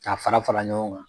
Ka fara fara ɲɔgɔn kan.